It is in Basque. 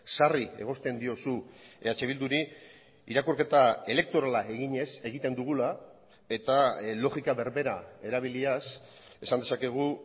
sarri egozten diozu eh bilduri irakurketa elektorala eginez egiten dugula eta logika berbera erabiliaz esan dezakegu